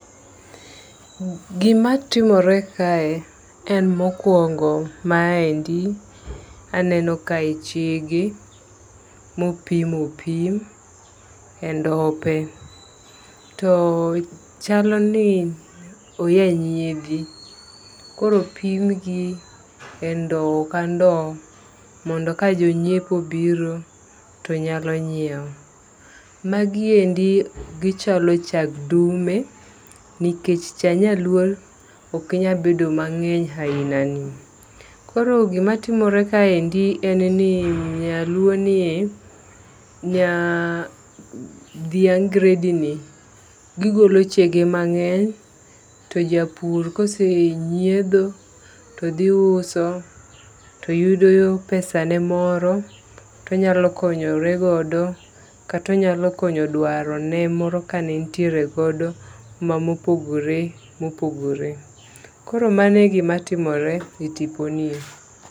Gima timore kae en mokwongo ma endi aneno kae chege mopim opim e ndope. To chalo ni oya nyiedhi. Kooro opim gi e ndowo ka ndowo mondo ka jo nyiepo obiro too nyalo nyiew. Magi endi gichalo chag dume, nikech cha nyaluo ok nyal bedo mang'eny aina ni. Koro gima timore ka endi en ni nyaluo ni e dhiang' gredi ni gigolo chege mang'eny. To japur kose nyiedho to dhi uso to yudo pesane moro tonyalo konyoregodo kata onyalo konyo dwaro ne moro ka ne entiere godo ma mopogore mopogore. Koro mano e gima timore e tipo nie.